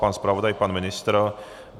Pan zpravodaj, pan ministr?